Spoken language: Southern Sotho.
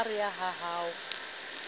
ha a re ha ho